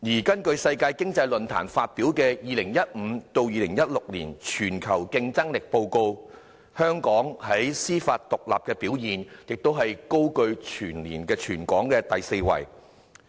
根據世界經濟論壇發表的《2015-2016 年全球競爭力報告》，香港在司法獨立的表現亦高居全球第四位。